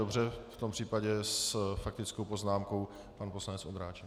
Dobře, v tom případě s faktickou poznámkou pan poslanec Vondráček.